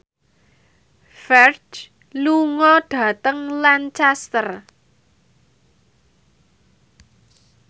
Ferdge lunga dhateng Lancaster